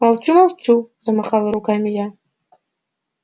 молчу молчу замахала руками я